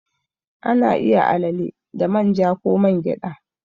Ana iya alale da man ja ko man gyada.